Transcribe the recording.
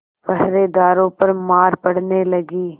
पहरेदारों पर मार पड़ने लगी